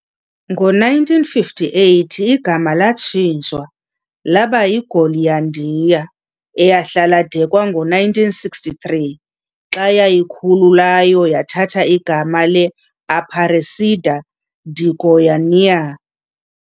Ngo-1958 igama latshintshwa laba yiGoialândia, eyahlala de kwangowe-1963, xa yazikhululayo yathatha igama le-Aparecida de Goiânia.